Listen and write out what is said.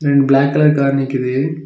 ரெண்டு black colour car நிக்குது.